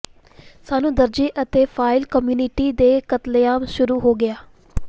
ਸਾਨੂੰ ਦਰਜੇ ਅਤੇ ਫਾਇਲ ਕਮਿਊਨਿਸਟ ਦੇ ਕਤਲੇਆਮ ਸ਼ੁਰੂ ਹੋ ਗਿਆ